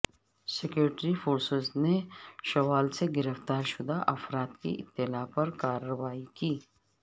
security forces نے شوال سے گرفتار شدہ افراد کی اطلاع پر کارروائی کی